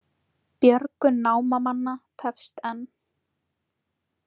Björgun námamanna tefst enn